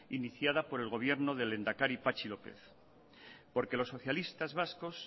iniciada por el gobierno del lehendakari patxi lópez porque los socialistas vascos